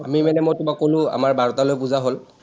আমি মানে মই তোমাক ক’লো, আমাৰ বাৰটালৈ পুজা হল।